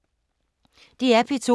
DR P2